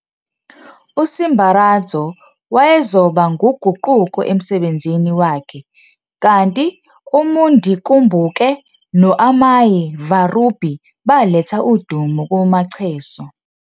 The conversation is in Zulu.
USimbaradzo wayezoba nguguquko emsebenzini wakhe kanti uMundikumbuke noAmai VaRubhi baletha udumo kuMacheso.